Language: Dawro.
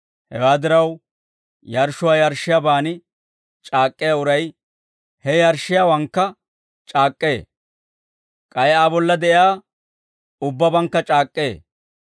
Hewaa diraw, yarshshuwaa yarshshiyaaban c'aak'k'iyaa uray he yarshshiyaawaanikka c'aak'k'ee; k'ay Aa bolla de'iyaa ubbabankka c'aak'k'ee.